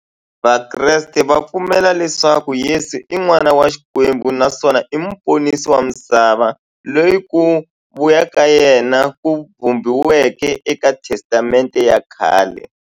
Vakreste va pfumela leswaku Yesu i n'wana wa Xikwembu naswona i muponisi wa misava, loyi ku vuya ka yena ku vhumbiweke e ka Testamente ya khale.